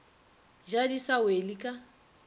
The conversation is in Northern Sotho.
ja di sa wele ka